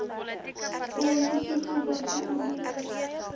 basiese volwasse onderwys